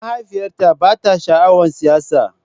Mahaifiyata ba ta sha'awar siyasa